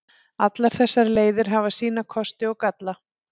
Allar þessar leiðir hafa sína kosti og galla.